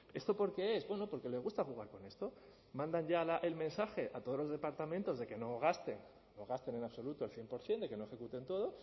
esto por qué es bueno porque les gusta jugar con esto mandan ya el mensaje a todos los departamentos de que no gasten no gasten en absoluto el cien por ciento de que no ejecuten todo